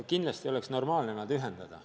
Kindlasti oleks normaalne need ühendada.